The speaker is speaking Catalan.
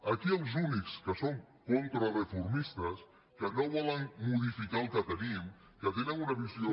aquí els únics que són contrareformistes que no volen modificar el que tenim que tenen una visió